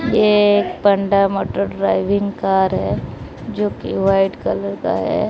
ये एक panda motor driving car है जो कि वाइट कलर का है।